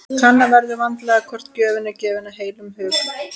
Kanna verður vandlega hvort gjöfin er gefin af heilum hug.